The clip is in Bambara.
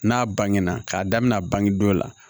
N'a bangena k'a daminɛ a bangedon dɔ la